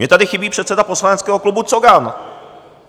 Mně tady chybí předseda poslaneckého klubu Cogan.